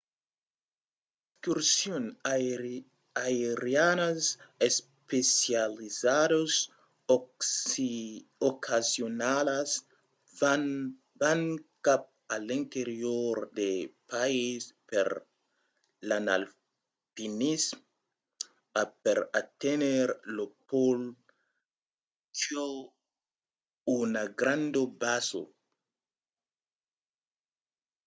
d'excursions aerianas especializadas ocasionalas van cap a l'interior del país per l'alpinisme o per aténher lo pòl qu'a una granda basa